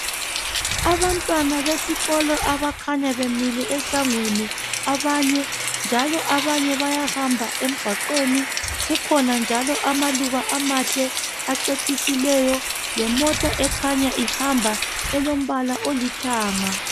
Abantwana besikolo abakhanya bemile esangweni abanye .Njalo abanye bayahamba emgwaqweni .Kukhona njalo amaluba amahle acecisileyo .Lemota njalo ekhanya ihamba elombala olithanga .